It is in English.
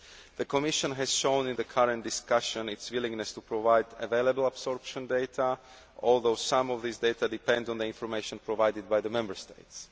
The Commission has shown in the current discussion its willingness to provide available absorption data, although some of these data depend on the information provided by the Member States.